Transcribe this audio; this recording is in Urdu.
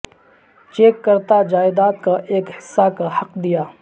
چیک کرتا جائیداد کا ایک حصہ کا حق دیا